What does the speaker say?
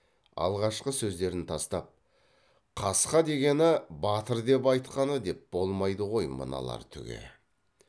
алғашқы сөздерін тастап қасқа дегені батыр деп айтқаны деп болмайды ғой мыналар түге